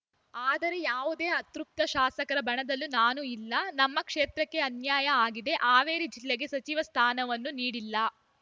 ಆದರೆ ಯಾವುದೇ ಅತೃಪ್ತ ಶಾಸಕರ ಬಣದಲ್ಲೂ ನಾನು ಇಲ್ಲ ನಮ್ಮ ಕ್ಷೇತ್ರಕ್ಕೆ ಅನ್ಯಾಯ ಆಗಿದೆ ಹಾವೇರಿ ಜಿಲ್ಲೆಗೆ ಸಚಿವ ಸ್ಥಾನವನ್ನು ನೀಡಿಲ್ಲ